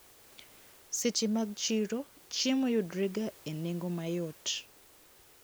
Seche mag chiro chiemo yudrega e nengo mayot.